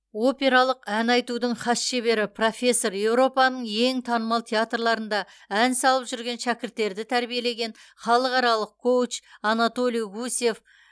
опералық ән айтудың хас шебері профессор еуропаның ең танымал театрларында ән салып жүрген шәкірттерді тәрбиелеген халықаралық коуч анатолий гусев